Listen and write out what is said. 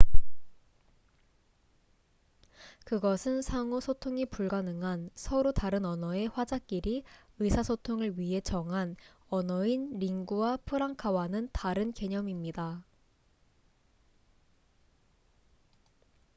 그것은 상호 소통이 불가능한 서로 다른 언어의 화자끼리 의사소통을 위해 정한 언어인 링구아 프랑카와는 다른 개념입니다